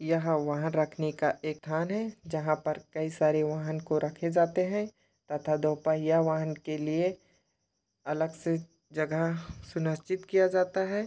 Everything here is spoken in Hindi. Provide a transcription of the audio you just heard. यहाँ वाहन रखने का स्थान हैं जहाँ पर कई सरे वाहन को रखे जाते हैं तथा दो पहिया वहान के लिए अलग से जगह सुनिश्चित किया जाता हैं।